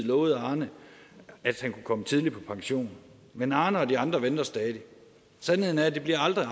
lovede arne at han kunne komme tidligt på pension men arne og de andre venter stadig sandheden er at det aldrig